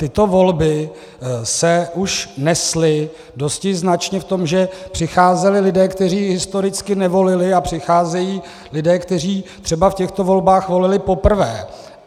Tyto volby se už nesly dosti značně v tom, že přicházeli lidé, kteří historicky nevolili, a přicházejí lidé, kteří třeba v těchto volbách volili poprvé.